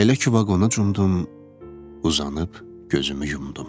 Elə ki vaqona cumdum, uzanıb gözümü yumdum.